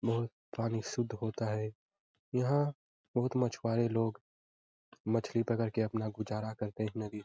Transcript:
बहुत पानी शुद्ध होता है। यहाँ बहुत मछवारे लोग मछली पकड़ के अपना गुजारा करते --